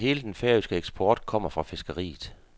Næsten hele den færøske eksport kommer fra fiskeriet.